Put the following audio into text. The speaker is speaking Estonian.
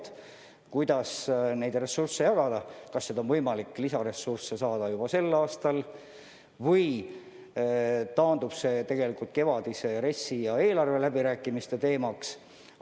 Tuleb otsustada, kuidas neid ressursse jagada, kas on võimalik lisaressursse eraldada juba sel aastal või kandub see kevadise RES-i ja eelarveläbirääkimiste teemaks.